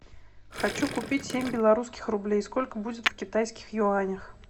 хочу купить семь белорусских рублей сколько будет в китайских юанях